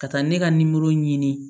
Ka taa ne ka ɲini